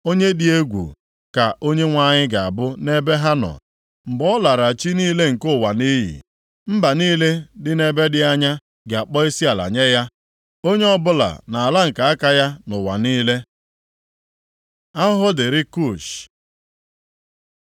Onye dị egwu ka Onyenwe anyị ga-abụ nʼebe ha nọ, mgbe ọ lara chi niile nke ụwa nʼiyi. Mba niile dị nʼebe dị anya ga-akpọ isiala nye ya, onye ọbụla nʼala nke aka ya nʼụwa niile. Ahụhụ dịrị Kush